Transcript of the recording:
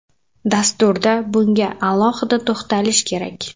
Dasturda bunga alohida to‘xtalish kerak.